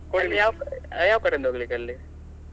ಅಲ್ಲಿ ಯಾವಕ~ ಯಾವ್ ಕಡೆಯಿಂದ ಹೋಗ್ಲಿಕ್ಕೆ ಅಲ್ಲಿ?